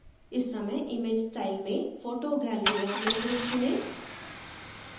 इस समय image style में photo gallery of logos चुनें